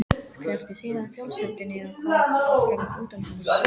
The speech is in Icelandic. Skellti síðan fjóshurðinni og kvað áfram utanhúss.